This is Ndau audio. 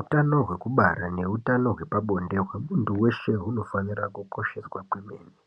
Utano hwekubara neutano hwepabonde kwemunthu weshe munofanira kukosheswa kuitira kuti